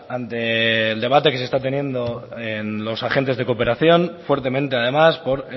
ante el debate que se está teniendo en los agentes de cooperación fuertemente además por